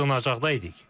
Biz sığınacaqdaydıq.